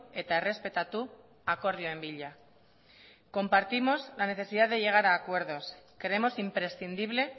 eta errespetatu akordioen bila compartimos la necesidad de llegar a acuerdos creemos imprescindible